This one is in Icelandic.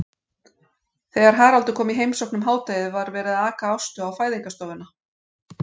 Þegar Haraldur kom í heimsókn um hádegið var verið að aka Ástu á fæðingarstofuna.